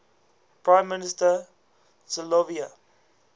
prime minister silvio